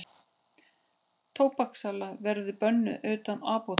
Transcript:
Tóbakssala verði bönnuð utan apóteka